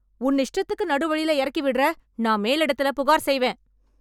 உன் இஷ்டத்துக்கு நடு வழில எறக்கி விடுற, நான் மேலிடத்துல புகார் செய்வேன்.